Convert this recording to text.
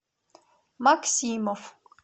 максимов